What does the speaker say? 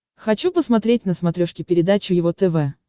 хочу посмотреть на смотрешке передачу его тв